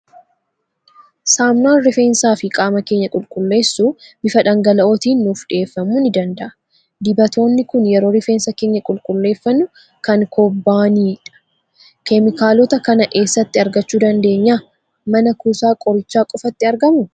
Saamunaan rifeensaa fi qaama keenya qulqulleessu bifa dhangala'ootiin nuuf dhiyeeffamuu ni danda'u. Dibatoonni kun yeroo rifeensa keenya qulqulleeffannu kan kobbanii dha. Keemikaalota kana eessatti argachuu dabdeenyaa? Mana kuusaa qorichaa qofatti argamuu?